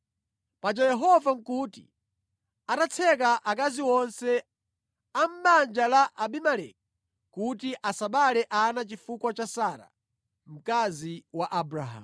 Paja Yehova nʼkuti atatseka akazi onse a mʼbanja la Abimeleki kuti asabereke ana chifukwa cha Sara, mkazi wa Abrahamu.